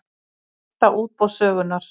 Stærsta útboð sögunnar